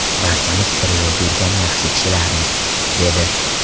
Barchamiz bir yo‘lda yurgan yaxshi kishilarmiz”, dedi.